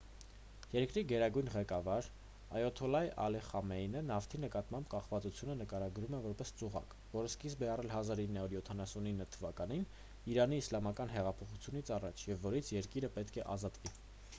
երկրի գերագույն ղեկավար այաթոլլահ ալի խամենեյը նավթի նկատմամբ կախվածությունը նկարագրել է որպես ծուղակ որը սկիզբ է առել 1979 թվականի իրանի իսլամական հեղափոխությունից առաջ և որից երկիրը պետք է ազատվի